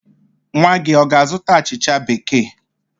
Nwa gị ọ ga-azụta achịcha Bekee?